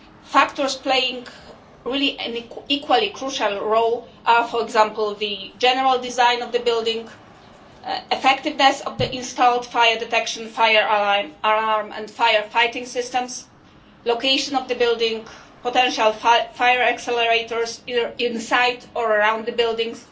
Factors playing an equally crucial role are, for example, the general design of the building, the effectiveness of the installed fire detection, fire alarm and fire fighting systems, the location of the building, potential fire accelerators inside or around the buildings,